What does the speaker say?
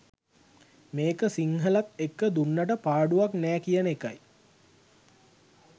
මේක සිංහලත් එක්ක දුන්නට පාඩුවක් නෑ කියන එකයි.